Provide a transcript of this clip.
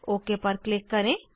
okay पर click करें